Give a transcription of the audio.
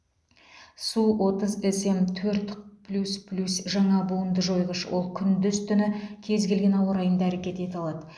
су отыз см төрт плюс плюс жаңа буынды жойғыш ол күндіз түні кез келген ауа райында әрекет ете алады